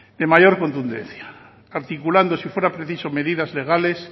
de mayor contundencia articulando si fuera preciso medidas legales